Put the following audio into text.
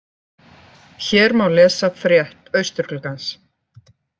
Hér má lesa frétt Austurgluggans